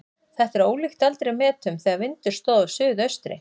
Þetta er ólíkt eldri metum þegar vindur stóð af suðaustri.